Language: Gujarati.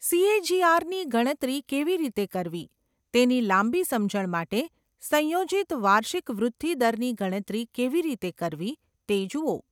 સીએજીઆરની ગણતરી કેવી રીતે કરવી તેની લાંબી સમજણ માટે, સંયોજિત વાર્ષિક વૃદ્ધિ દરની ગણતરી કેવી રીતે કરવી તે જુઓ.